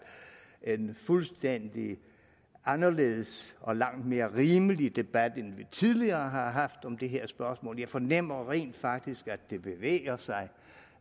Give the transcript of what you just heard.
en fuldstændig anderledes og langt mere rimelig debat end vi tidligere har haft om det her spørgsmål jeg fornemmer rent faktisk at det bevæger sig